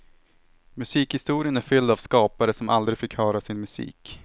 Musikhistorien är fylld av skapare som aldrig fick höra sin musik.